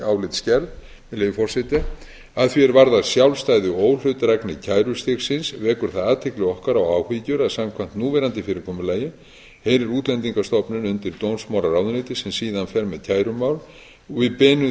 leyfi forseta að því er varðar sjálfstæði og óhlutdrægni kærustigsins vekur það athygli okkar og áhyggjur að samkvæmt núverandi fyrirkomulagi heyrir útlendingastofnun undir dómsmálaráðuneytið sem síðan fer með kærumál og við beinum